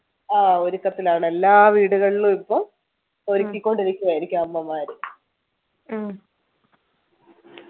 ആഹ് ഒരുക്കത്തിലാണ് എല്ലാ വീടുകളിലും ഇപ്പൊ ഒരുക്കിക്കൊണ്ടിരിക്കുവായിരിക്കും അമ്മമാര്